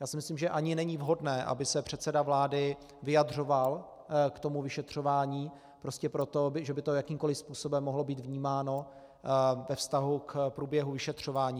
Já si myslím, že ani není vhodné, aby se předseda vlády vyjadřoval k tomu vyšetřování, prostě proto, že by to jakýmkoliv způsobem mohlo být vnímáno ve vztahu k průběhu vyšetřování.